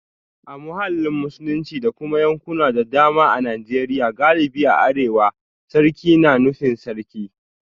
A mahallin Musulunci da kuma yankuna da dama a Najeriya galibi a arewa, sarki na nufin Sarki